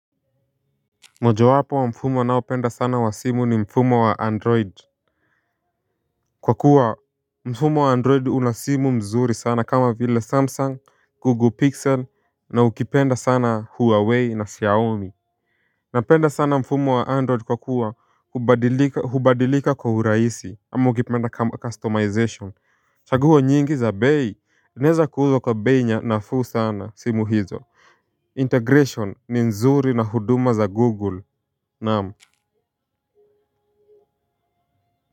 Mojo wapo wa mfumo ninaopenda sana wa simu ni mfumo wa android. Kwa kuwa mfumo wa android una simu mzuri sana kama vile Samsung, Google Pixel na ukipenda sana Huawei na Xiaomi. Napenda sana mfumo wa android kwa kuwa hubadilika hubadilika kwa uraisi ama ukipenda kama customization chaguo nyingi za bei zinaeza kuuzwa kwa bei nya nafuu sana simu hizo Integration ni nzuri na huduma za Google naam.